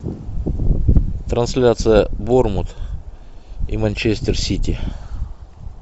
трансляция борнмут и манчестер сити